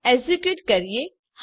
execute કરીએ